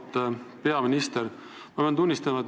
Auväärt peaminister!